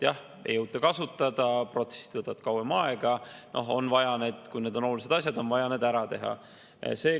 Jah, ei jõuta kasutada, protsessid võtavad kauem aega, aga need on olulised asjad, on vaja need ära teha.